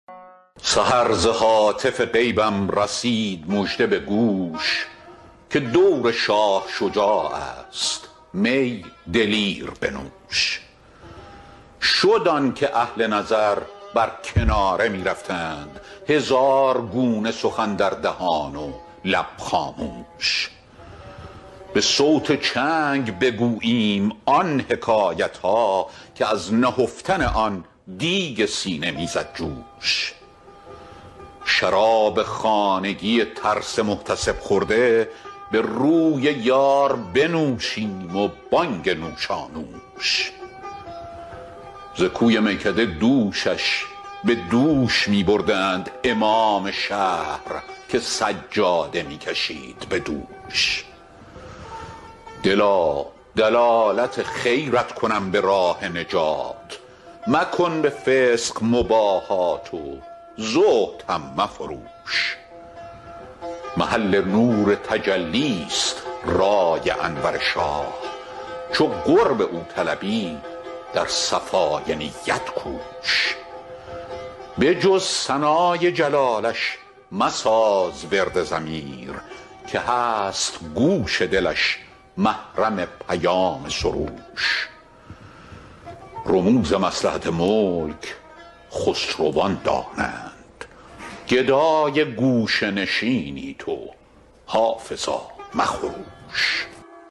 سحر ز هاتف غیبم رسید مژده به گوش که دور شاه شجاع است می دلیر بنوش شد آن که اهل نظر بر کناره می رفتند هزار گونه سخن در دهان و لب خاموش به صوت چنگ بگوییم آن حکایت ها که از نهفتن آن دیگ سینه می زد جوش شراب خانگی ترس محتسب خورده به روی یار بنوشیم و بانگ نوشانوش ز کوی میکده دوشش به دوش می بردند امام شهر که سجاده می کشید به دوش دلا دلالت خیرت کنم به راه نجات مکن به فسق مباهات و زهد هم مفروش محل نور تجلی ست رای انور شاه چو قرب او طلبی در صفای نیت کوش به جز ثنای جلالش مساز ورد ضمیر که هست گوش دلش محرم پیام سروش رموز مصلحت ملک خسروان دانند گدای گوشه نشینی تو حافظا مخروش